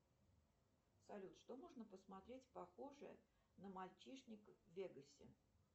салют что можно посмотреть похожее на мальчишник в вегасе